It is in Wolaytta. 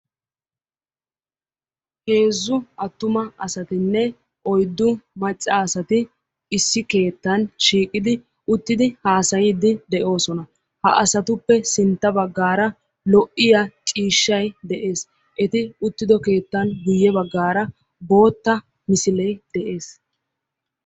Heezzu attuma asatinne oyddu macca asati issi keettan uttidi haassaydde de'oosona. Ha asatuppe sintta baggaara lo''iyaa ciishshay de'ees. Eti uttido keettan ya baggaara bootta misile de'ees.